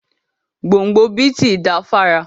Gbóǹgbò bíìtì da fára.